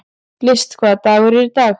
List, hvaða dagur er í dag?